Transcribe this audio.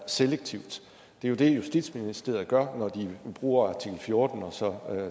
selektivt det er jo det justitsministeriet gør når de bruger artikel fjorten og så